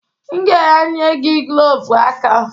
M ga-enye gị glovu aka.